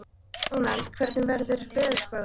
Dónald, hvernig er veðurspáin?